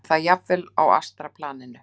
Og það jafnvel á astralplaninu.